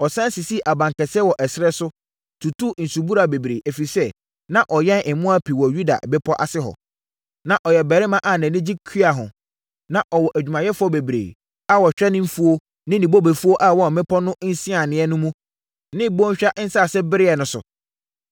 Ɔsane sisii abankɛseɛ wɔ ɛserɛ so, tutuu nsubura bebree, ɛfiri sɛ, na ɔyɛn mmoa pii wɔ Yuda bepɔ ase hɔ. Na ɔyɛ ɔbarima a nʼani gye kua ho. Na ɔwɔ adwumayɛfoɔ bebree a wɔhwɛ ne mfuo ne ne bobefuo a ɛwɔ mmepɔ no nsianeɛ mu ne bɔnhwa nsase bereɛ no so.